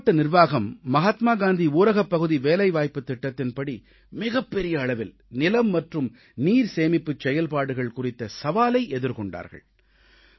மாவட்ட நிர்வாகம் மகாத்மா காந்தி ஊரகப்பகுதி வேலைவாய்ப்புத் திட்டத்தின்படி மிகப்பெரிய அளவில் நிலம் மற்றும் நீர்சேமிப்புச் செயல்பாடுகள் குறித்த சவாலை எதிர்கொண்டார்கள்